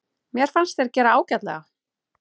Mér fannst þeir gera ágætlega.